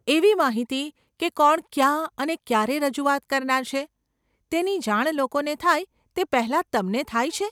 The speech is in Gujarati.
એવી માહિતી કે કોણ ક્યાં અને ક્યારે રજૂઆત કરનાર છે, તેની જાણ લોકોને થાય તે પહેલાં તમને થાય છે?